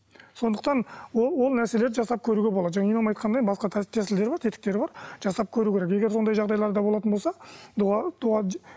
сондықтан ол ол нәрселерді жасап көруге болады жаңағы имам айтқандай басқа тәсілдері бар тетіктері бар жасап көру керек егер сондай жағдайларда болатын болса дұға дұға